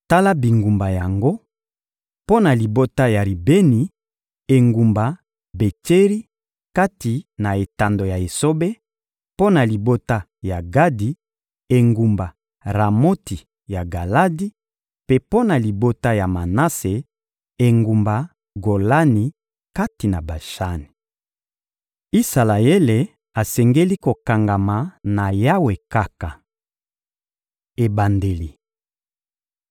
Tala bingumba yango: Mpo na libota ya Ribeni, engumba Betseri kati na etando ya esobe; mpo na libota ya Gadi, engumba Ramoti ya Galadi, mpe mpo na libota ya Manase, engumba Golani kati na Bashani. Isalaele asengeli kokangama na Yawe kaka Ebandeli